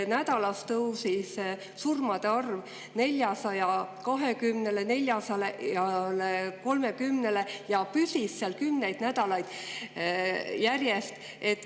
Nädalas tõusis surmade arv 420–430-le ja püsis seal kümneid nädalaid järjest.